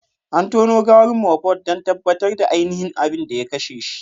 An tono gawar Mohbad don tabbatar da ainihin abin da ya kashe shi.